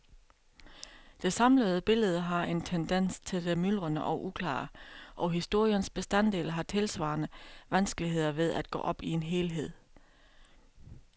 Det samlede billede har en tendens til det myldrende og uklare, og historiens bestanddele har tilsvarende vanskeligheder ved at gå op i en helhed.